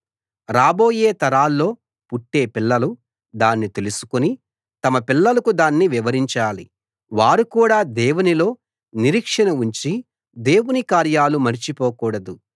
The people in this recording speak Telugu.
రాబోయే తరాల్లో పుట్టే పిల్లలు దాన్ని తెలుసుకుని తమ పిల్లలకు దాన్ని వివరించాలి వారు కూడా దేవునిలో నిరీక్షణ ఉంచి దేవుని కార్యాలు మరచిపోకూడదు